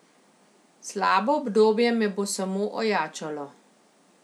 Slabo obdobje me bo samo ojačalo.